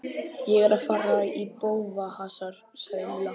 Ég er að fara í bófahasar sagði Lilla.